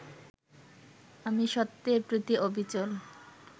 আমি সত্যের প্রতি অবিচল